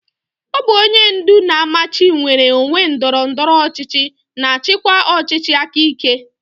Ọ bụ onye ndu na-amachi nnwere onwe ndọrọ ndọrọ ọchịchị na-achịkwa ọchịchị aka ike.